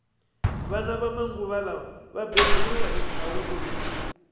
vana va manguva lawa va beburiwa hi thawula